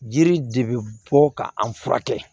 Jiri de bɛ bɔ ka an furakɛ